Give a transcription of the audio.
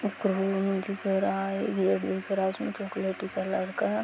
ये दिख रहा है --